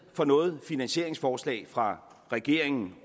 for noget finansieringsforslag fra regeringen